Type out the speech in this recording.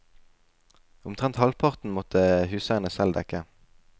Omtrent halvparten måtte huseierne selv dekke.